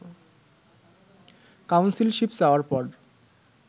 councilship চাওয়ার পর